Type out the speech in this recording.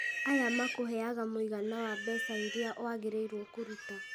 aya makũheyaga mũigana wa mbeca iria wagĩrĩirwo kũruta